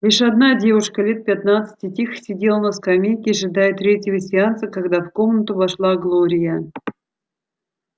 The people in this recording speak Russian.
лишь одна девушка лет пятнадцати тихо сидела на скамейке ожидая третьего сеанса когда в комнату вошла глория